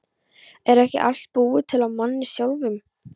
Er ekki allt búið til af manni sjálfum?